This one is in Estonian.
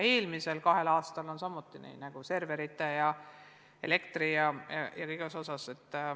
Eelmisel kahel aastal on samuti tehtud näiteks serverite ja elektri jms kulutusi.